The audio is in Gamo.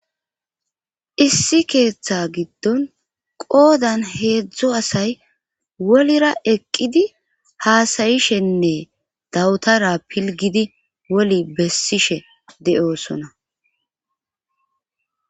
issi keeththa giddon qoodan heedzdzo asay wolira eqqidi haasayishenne dawutara pilgidi woli bessishe de7osona